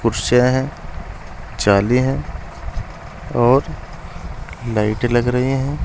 कुर्सियां हैं चाली हैं और लाइटें लग रही हैं।